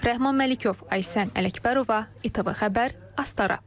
Rəhman Məlikov, Aysən Ələkbərova, ATV Xəbər, Astara.